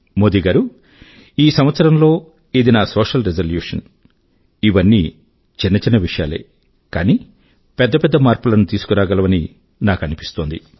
మోదీ గారూ ఈ కొత్త సంవత్సరం లో ఇది నా సోషియల్ రిజల్యూషన్ ఇవన్నీ చిన్న చిన్న విషయాలే కానీ పెద్ద పెద్ద మార్పుల ను తీసుకు రాగలవని నాకు అనిపిస్తోంది